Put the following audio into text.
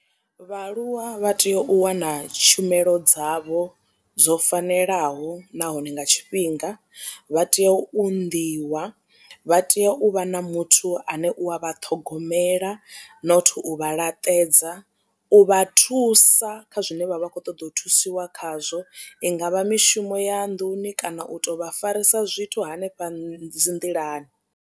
Vhaaluwa vha tea u wana tshumelo dzavho dzo fanelaho nahone nga tshifhinga vha tea u unḓiwa vha tea u vha na muthu ane u a vha ṱhogomela not u vha laṱedza u vha thusa kha zwine vha vha kho ṱoḓa u thusiwa khazwo i ngavha mishumo ya nḓuni kana u to vha farisa zwithu hanefha dzi nḓilani.